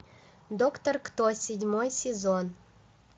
доктор кто седьмой сезон